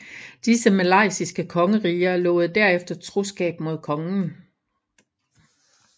Disse malaysiske kongeriger lovede derefter troskab mod kongen